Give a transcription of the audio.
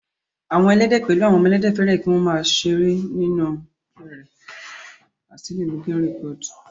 Àwọn Ẹlẹ́dẹ̀ pẹ̀lú àwọn ọmọ Ẹlẹ́dẹ̀, fẹ́ràn kí wọ́n máa yí nínú ẹrẹ̀ láti ṣeré